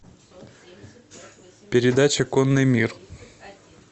передача конный мир